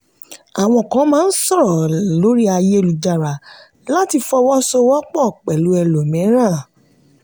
àwọn kan máa ń sọ̀rọ̀ lórí ayélujára láti fọwọ́ sowọ́pọ̀ pẹ̀lú ẹlòmíràn.